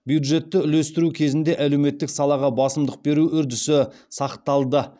бюджетті үлестіру кезінде әлеуметтік салаға басымдық беру үрдісі сақталды